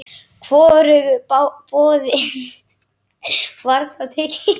Hvorugu boðinu var þá tekið.